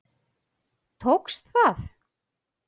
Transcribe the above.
Tókst það.